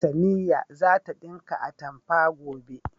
Samiya za ta ɗinka atamfa, gobe.